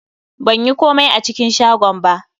Ban yi komai a cikin shagon ba